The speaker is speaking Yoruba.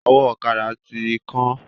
Ọwọ́ ọ̀kada ti kán.